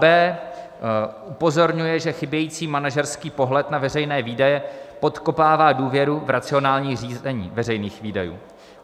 b) Upozorňuje, že chybějící manažerský pohled na veřejné výdaje podkopává důvěru v racionální řízení veřejných výdajů.